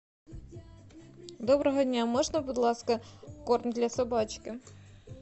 доброго дня можно будь ласка корм для собачки